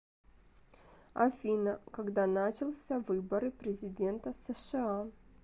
афина когда начался выборы президента сша